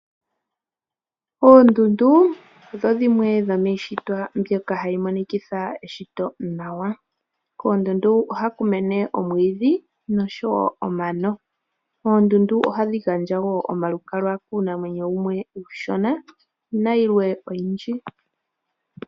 Oondundu odho dhimwe dhomiishitwa mbyoka hayi monikitha eshito nawa . Koondundu ohaku mene omwiidhi noshowo omano . Oondundu ohadhi gandja woo omalukalwa kuunamwenyo uushona nayilwe oyindji